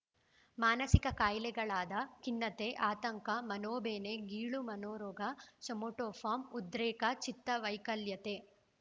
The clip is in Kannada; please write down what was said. ಮಾನಸಿಕ ಕಾಯಿಲೆಗಳಾದ ಖಿನ್ನತೆ ಆತಂಕ ಮನೋಬೇನೆ ಗೀಳು ಮನೋರೋಗ ಸೊಮೊಟೋಫಾಮ್‌ ಉದ್ರೇಕ ಚಿತ್ತ ವೈಕಲ್ಯತೆ